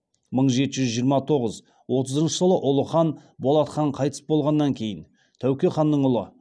мың жеті жүз жиырма тоғыз отызыншы жылы ұлы хан болат хан қайтыс болғаннан кейін тәуке ханның ұлы